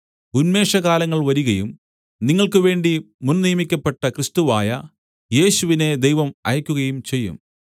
ഉന്മേഷകാലങ്ങൾ വരികയും നിങ്ങൾക്കുവേണ്ടി മുൻനിയമിക്കപ്പെട്ട ക്രിസ്തുവായ യേശുവിനെ ദൈവം അയക്കുകയും ചെയ്യും